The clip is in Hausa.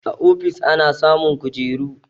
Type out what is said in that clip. A ofis ana samun kujeru